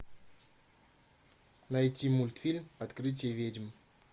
найти мультфильм открытие ведьм